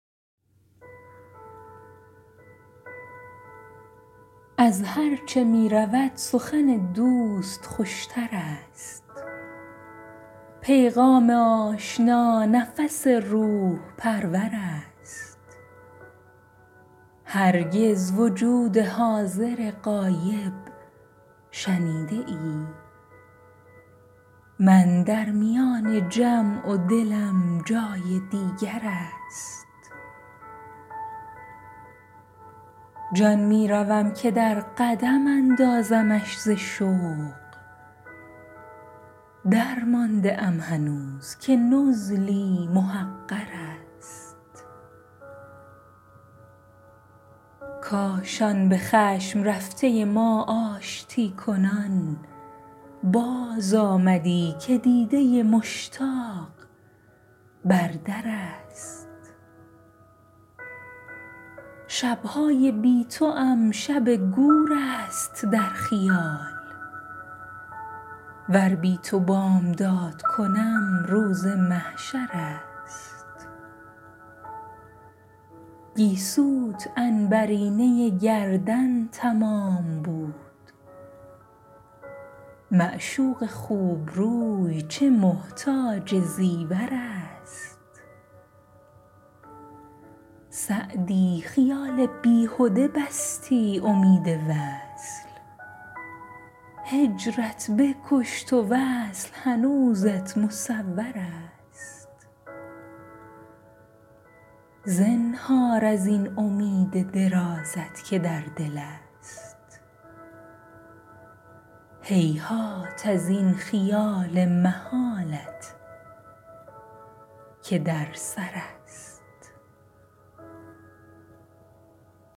از هرچه می رود سخن دوست خوش تر است پیغام آشنا نفس روح پرور است هرگز وجود حاضر غایب شنیده ای من در میان جمع و دلم جای دیگر است شاهد که در میان نبود شمع گو بمیر چون هست اگر چراغ نباشد منور است ابنای روزگار به صحرا روند و باغ صحرا و باغ زنده دلان کوی دلبر است جان می روم که در قدم اندازمش ز شوق درمانده ام هنوز که نزلی محقر است کاش آن به خشم رفته ما آشتی کنان بازآمدی که دیده مشتاق بر در است جانا دلم چو عود بر آتش بسوختی وین دم که می زنم ز غمت دود مجمر است شب های بی توام شب گور است در خیال ور بی تو بامداد کنم روز محشر است گیسوت عنبرینه گردن تمام بود معشوق خوب روی چه محتاج زیور است سعدی خیال بیهده بستی امید وصل هجرت بکشت و وصل هنوزت مصور است زنهار از این امید درازت که در دل است هیهات از این خیال محالت که در سر است